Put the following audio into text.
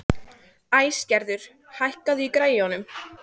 Æsgerður, hækkaðu í græjunum.